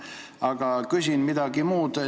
Aga küsin midagi muud.